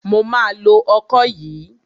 Mo ma lo ọkọ yìí.